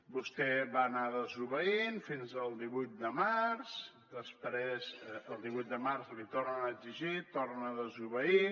vostè va anar desobeint fins al divuit de març després el divuit de març l’hi tornen a exigir torna a desobeir